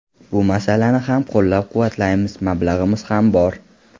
Bu masalani ham qo‘llab-quvvatlaymiz, mablag‘imiz ham bor.